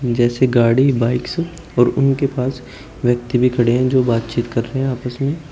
जैसे गाड़ी बाइक्स और उनके पास व्यक्ति भी खड़े हैं जो बातचीत कर रहे हैं आपस में।